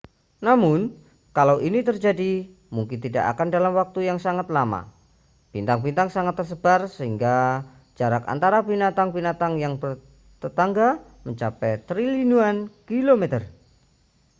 namun kalau ini terjadi mungkin tidak akan dalam waktu yang sangat lama bintang-bintang sangat tersebar sehingga jarak antara bintang-bintang yang bertetangga mencapai triliunan kilometer